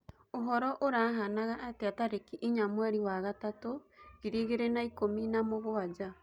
uhoro urahanaga atĩa tarĩkĩ ĩnya mwerĩ wa gatatu ngiriĩgĩrĩ na ĩkũmĩ na mũgwanja